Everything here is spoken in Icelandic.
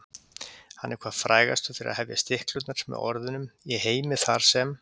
Hann er hvað frægastur fyrir að hefja stiklurnar með orðunum: Í heimi þar sem.